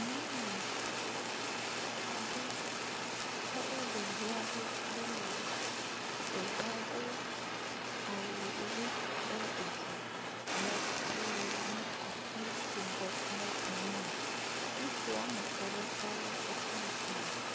nyɔnu aɖe tɔɖe ɖeviaɖe ƒe megbe ɖevia dó awu ɣi ɖe edzi me eye nikavi yibɔ ɖe anyime ŋutsu wɔmetɔ̃ tɔɖe wóƒe ŋkume